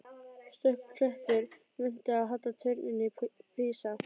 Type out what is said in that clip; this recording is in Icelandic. Stöku klettur minnti á halla turninn í Písa.